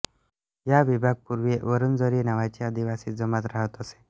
या विभाग पुर्वी वुरुंजरी नावाची आदिवासी जमात रहात असे